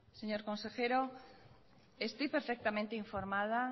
señor consejero estoy perfectamente informada